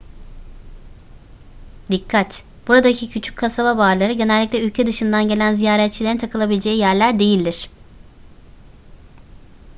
dikkat buradaki küçük kasaba barları genellikle ülke dışından gelen ziyaretçilerin takılabileceği yerler değildir